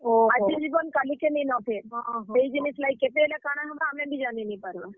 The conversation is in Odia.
ଆଜିର୍ ଜୀବନ୍ କାଲିକେ ନିନ ଫେର୍, ହେଇ ଜିନିଷ୍ ଲାଗି କେତେବେଲେ କାଣା ହେବା ଆମେ ବି ଜାନି ନି ପାର୍ ବାର୍।